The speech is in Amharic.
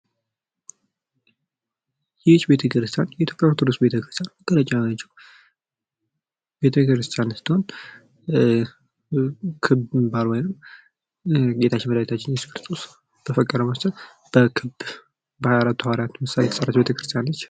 ይህ ቤተክርስቲያን የኢትዮጵያ ኦርቶዶክስ ተዋህዶ ቤተክርስቲያን ስትሆን፤ ክብ ስትሆን እየሱስ ክርስቶስ በተሰቀለበት በአራቱ ሃዋሪያት ምሳሌ የተሰራች ቤተክርስቲያን ነች።